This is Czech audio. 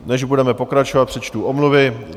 Než budeme pokračovat, přečtu omluvy.